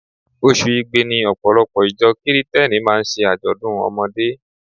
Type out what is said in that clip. Oṣù Igbe ni Ọ̀pọ̀lọpọ̀ ìjọ Kirìtẹ́nì máa ń ṣe àjọ̀dún ọmọdé.